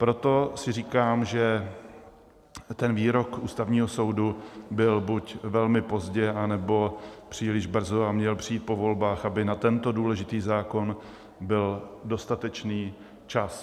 Proto si říkám, že ten výrok Ústavního soudu byl buď velmi pozdě, anebo příliš brzo a měl přijít po volbách, aby na tento důležitý zákon byl dostatečný čas.